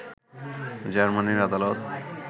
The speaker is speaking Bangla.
জার্মানির আদালত